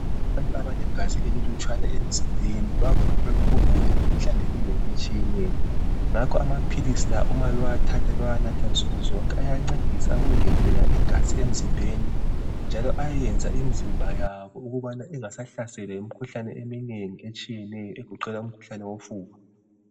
Abantu abalegazi elilutshwane emzimbeni bavame ukugula imikhuhlane eminengi etshiyeneyo. Ngakho amaphilisi la uma bewathatha bewanatha nsukuzonke ayancedisa ukungezelela igazi emzimbeni njalo ayenza imzimba yabo ukubana ingasahlaselwa yimikhuhlane eminengi etshiyetshiyeneyo egoqela umkhuhlane wofuba.